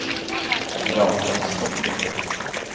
Rakel Stokke